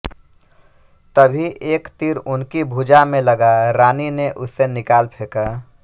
तभी एक तीर उनकी भुजा में लगा रानी ने उसे निकाल फेंका